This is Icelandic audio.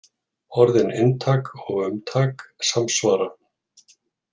Orðin inntak og umtak samsvara.